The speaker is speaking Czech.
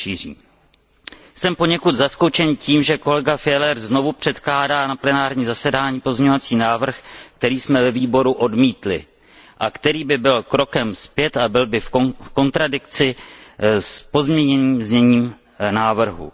šíří. Jsem poněkud zaskočen tím, že kolega Fjellner znovu předkládá na plenární zasedání pozměňovací návrh, který jsme ve výboru odmítli a který by byl krokem zpět a byl v kontradikci s pozměněným zněním návrhu.